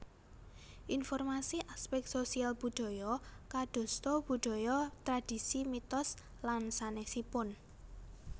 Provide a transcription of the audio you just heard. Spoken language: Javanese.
Informasi aspek sosial budaya kadosta budaya tradisi mitos lan sanèsipun